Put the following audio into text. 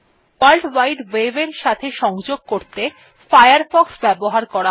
world wide web এর সাথে সংযোগ করতে ফায়ারফক্স ব্যবহার করা হয়